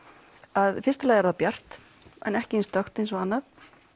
að í fyrsta lagi er það bjart ekki eins dökkt eins og annað